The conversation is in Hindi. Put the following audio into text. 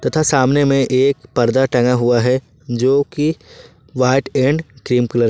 तथा सामने में एक पर्दा टंगा हुआ है जो कि व्हाइट एंड क्रीम कलर --